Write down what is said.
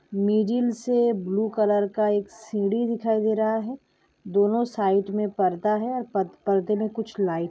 से blue colour का एक सीडी दिखाई दे रहा है दोनों साइड मे पर्दा है और पद-पर्दा में कुछ लाइट ।